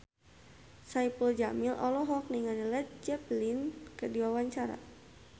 Saipul Jamil olohok ningali Led Zeppelin keur diwawancara